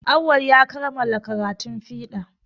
Awwalu ya kamala karatun fiɗa